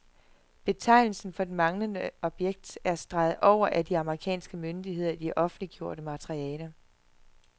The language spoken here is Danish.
Betegnelsen for det manglende objekt er streget over af de amerikanske myndigheder i det offentliggjorte materiale.